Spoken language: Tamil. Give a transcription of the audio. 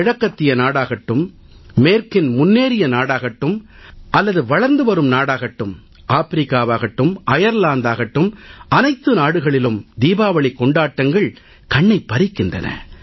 கிழக்கத்திய நாடாகட்டும் மேற்கின் முன்னேறிய நாடாகட்டும் அல்லது வளர்ந்து வரும் நாடாகட்டும் ஆப்பிரிக்காவாகட்டும் அயர்லாந்தாகட்டும் அனைத்து நாடுகளிலும் தீபாவளிக் கொண்டாட்டங்கள் கண்ணைப் பறிக்கின்றன